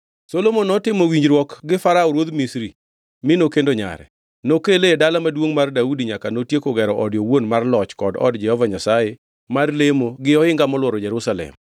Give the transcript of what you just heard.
Solomon notimo winjruok gi Farao ruodh Misri mi nokendo nyare. Nokele e Dala Maduongʼ mar Daudi nyaka notieko gero ode owuon mar loch kod od Jehova Nyasaye mar lemo gi ohinga molworo Jerusalem.